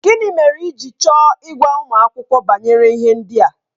Gịnị mere i ji chọọ ịgwa ụmụ akwụkwọ banyere ihe ndị a?